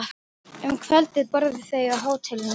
Um kvöldið borðuðu þau á hótelinu.